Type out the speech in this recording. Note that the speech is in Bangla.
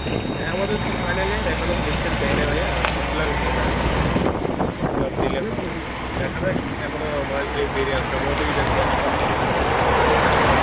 হ্যাঁ আমাদের তো final year এখনো date থেট দেয় নাই ভাইয়া form fillup হয় নাই, form fillup দিলে দেখা যাক এখনো মাছ দুয়েক দেরি আছে সম্ভবত ঈদের পর ছাড়া হবে না